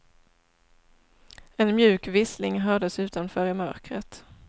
En mjuk vissling hördes utanför i mörkret.